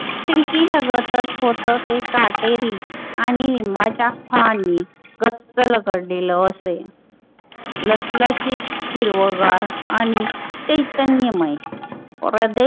Silkie लगतच होत ते काटेरी आणि लिम्बाच फानी कच्च रगडलेल असेल. लसलसीत, हिरवगार आणी चैतन्यमय प्रदेश सगळा